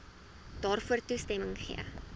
daarvoor toestemming gegee